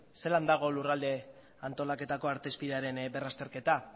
zelan dago lurralde antolaketako artezpidearen berrazterketa